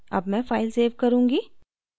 अब मैं file save करुँगी